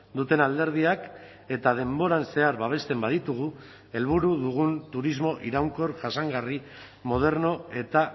duten alderdiak eta denboran zehar babesten baditugu helburu dugun turismo iraunkor jasangarri moderno eta